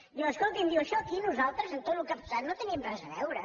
diu escolti’m això aquí nosaltres en tot el que ha passat no hi tenim res a veure